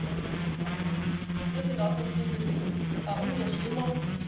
Also, ich finde das nicht in Ordnung! Wenn ihr das in Ordnung findet, umso schlimmer!